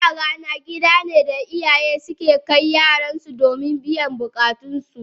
Kula a rana gidane da iyaye ke kai yaransu domin biyan bukatunsu.